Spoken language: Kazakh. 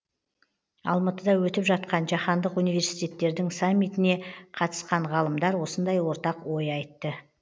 алматыда өтіп жатқан жаһандық университеттердің саммитіне қатысқан ғалымдар осындай ортақ ой айтты